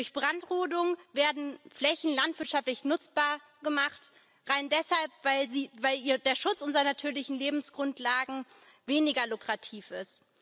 Durch Brandrodung werden Flächen landwirtschaftlich nutzbar gemacht, rein deshalb, weil der Schutz unserer natürlichen Lebensgrundlagen weniger lukrativ ist.